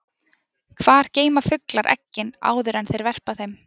Hvar geyma fuglar eggin áður en þeir verpa þeim?